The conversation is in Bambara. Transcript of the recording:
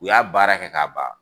U y'a baara kɛ k'a ban